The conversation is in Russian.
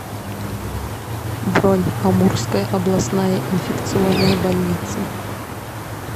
бронь амурская областная инфекционная больница